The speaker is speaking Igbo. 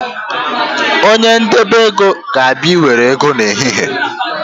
Onye ndebeego ga-abịa Ị nwere ego n’ehihie